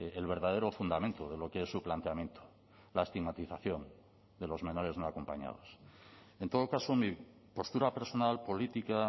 el verdadero fundamento de lo que es su planteamiento la estigmatización de los menores no acompañados en todo caso mi postura personal política